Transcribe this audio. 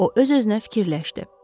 O öz-özünə fikirləşdi.